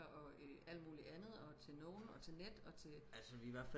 og alt muligt andet og til nogen og til net og til